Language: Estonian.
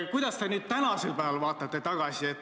Kuidas te praegu sellele tagasi vaatate?